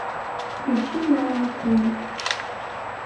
включи мало акулы